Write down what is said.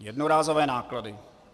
Jednorázové náklady.